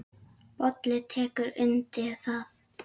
Bolli tekur undir það.